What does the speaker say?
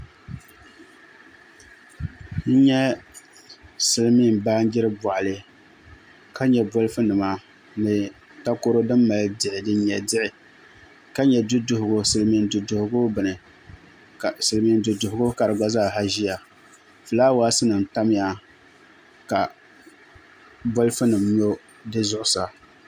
N nyɛ silmiin baanjiri boɣali ka nyɛ bolfu nima ni takoro din mali diɣi din nyɛ diɣi ka nyɛ silmiin du duɣugu bini ni silmiin du duɣugu ka gba zaa ʒiya ka fulaawaasi nim tamya ka bolfu nim nyɔ di zuɣusaa